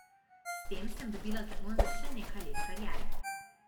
S tem sem dobila zagon za še nekaj let kariere.